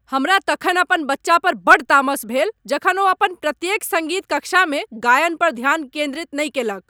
हमरा तखन अपन बच्चा पर बड्ड तामस भेल जखन ओ अपन प्रत्येक सङ्गीत कक्षामे गायन पर ध्यान केन्द्रित नहि केलक।